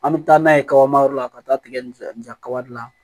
An bɛ taa n'a ye kaba yɔrɔ la ka taa tigɛ nin fɛ nin ja kadi la